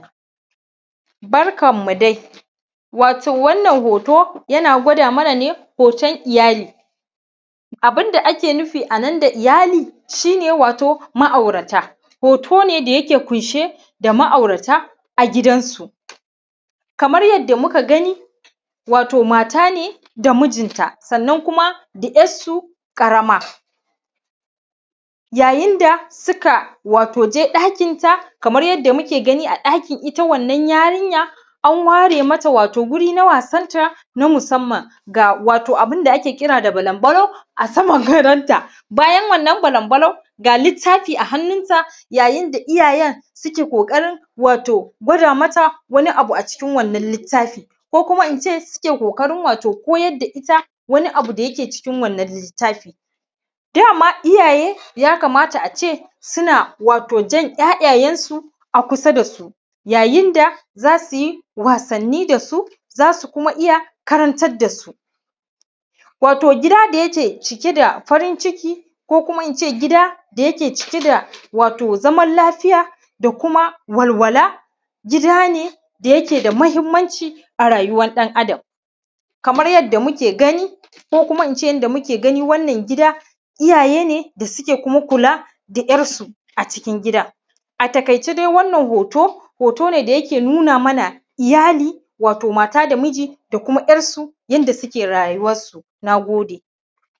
Barkanmu dai. Wato wannan hoto, yana gwada mana ne, hoton iyali. Abin da ake nufi a nan da iyali, shi ne wato ma’aurata. Hoto ne da yake ƙunshe da ma’aurata a gidansu. Kamar yadda muka gani, wato mata ne da mijinta sannan kuma da ‘yarsu ƙarama. Yayin da suka wato je ɗakinta kamar yadda muke gani a ɗakin ita wannan yarinya, an ware mata wato guri na wasanta na musamman. Ga wato abin da ake kira da balambalo a saman gadonta. Bayan wannan balambalo, ga littafi a hannunta, yayin da iyayen suke ƙoƙarin wato gwada mata wani abu a cikin wannan littafi, ko kuma in ce wato suke ƙoƙarin koyar da ita wani abu da yake cikin wannan littafi. Dama iyaye, ya kamata a ce, suna wato jan ‘ya’yansu a kusa da su, yayin da za su yi wasanni da su, za su kuma iya karantar da su. Wato gida da yake cike da farin ciki, ko kuma in ce gida wato da yake cike da wato zaman lafiya da kuma walwala, gida ne da yake da muhimmanci a rayuwan ɗan Adam. Kamar yadda muke gani, ko kuma in ce yadda muke gani wannan gida, iyaye ne da suke kuma kula da ‘yarsu a cikin gidan. A taƙaice dai wannan hoto, hoto ne da yake nuna mana iyali, wato mata da miji da kuma ‘yarsu, yadda suke rayuwa. Na gode.